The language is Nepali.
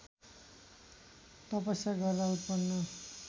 तपस्या गर्दा उत्पन्न